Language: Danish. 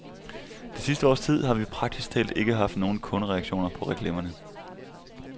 Det sidste års tid har vi praktisk talt ikke haft nogen kundereaktioner på reklamerne.